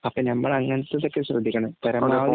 അപ്പൊ ഞമ്മള് അങ്ങനത്തെയൊക്കെ ശ്രദ്ധിക്കണം. പരമാവധി